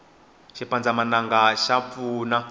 xipandzamananga xa pfuna